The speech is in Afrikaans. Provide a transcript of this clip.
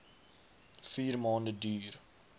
vier maande duur